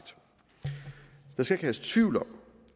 der skal ikke herske tvivl om